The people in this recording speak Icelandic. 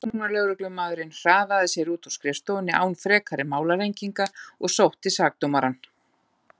Rannsóknarlögreglumaðurinn hraðaði sér út úr skrifstofunni án frekari málalenginga og sótti sakadómarann.